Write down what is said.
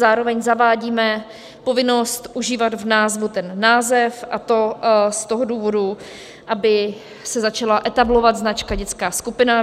Zároveň zavádíme povinnost užívat v názvu ten název, a to z toho důvodu, aby se začala etablovat značka dětská skupina.